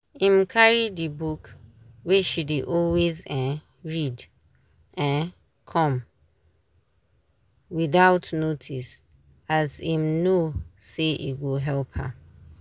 im carry the book wey she dey always um read um come without notice as im know say e go help her